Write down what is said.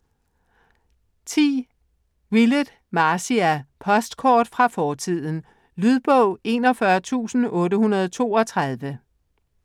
Willett, Marcia: Postkort fra fortiden Lydbog 41832